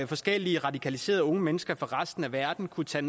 forskellige radikaliserede unge mennesker fra resten af verden kunne tage